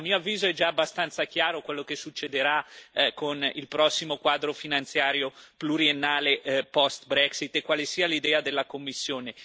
A mio avviso è già abbastanza chiaro quello che succederà con il prossimo quadro finanziario pluriennale post Brexit e quale sia l'idea della Commissione.